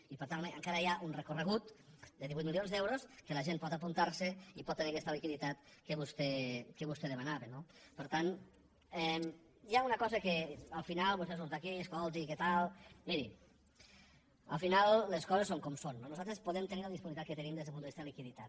i per tant encara hi ha un recorregut de divuit mi lions d’euros que la gent pot apuntar se i pot tenir aquesta liquiditat que vostè demanava no per tant hi ha una cosa que al final vostè surt aquí escolti què tal miri al final les coses són com són no nosaltres podem tenir la disponibilitat que tenim des del punt de vista de liquiditat